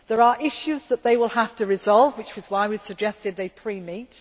There are issues that they will have to resolve, which is why we suggested they pre meet.